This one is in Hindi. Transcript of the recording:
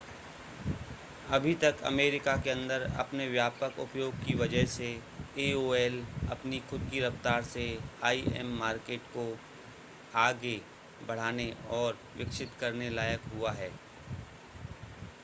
अभी तक अमेरिका के अंदर अपने व्यापक उपयोग की वजह से aol अपनी खुद की रफ़्तार से im मार्केट को आगे बढ़ाने और विकसित करने लायक हुआ है